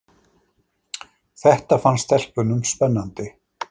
Þetta fannst stelpunum spennandi.